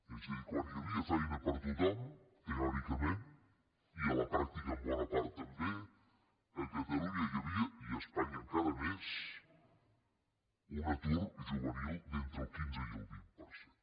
és a dir quan hi havia feina per a tothom teòricament i a la pràctica en bona part també a catalunya hi havia i a espanya encara més un atur juvenil d’entre el quinze i el vint per cent